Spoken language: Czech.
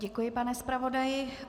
Děkuji, pane zpravodaji.